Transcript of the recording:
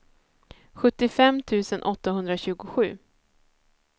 sjuttiofem tusen åttahundratjugosju